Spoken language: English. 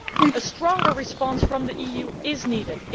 A stronger response from the EU is needed.